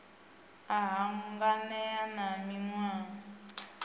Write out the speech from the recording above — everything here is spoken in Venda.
a hanganea na o niwaho